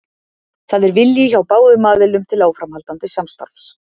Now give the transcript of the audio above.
Það er vilji hjá báðum aðilum til áframhaldandi samstarfs.